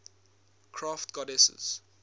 crafts goddesses